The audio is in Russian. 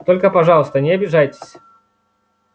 только пожалуйста не обижайтесь